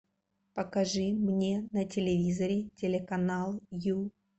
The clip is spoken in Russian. покажи мне на телевизоре телеканал ю